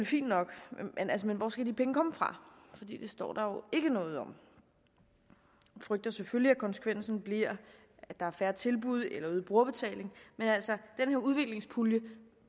fint nok men hvor skal de penge komme fra det står der jo ikke noget om vi frygter selvfølgelig at konsekvensen bliver at der er færre tilbud eller øget brugerbetaling men altså her udviklingspulje